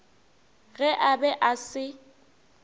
ge a be a se